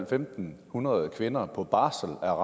fem hundrede kvinder på barsel er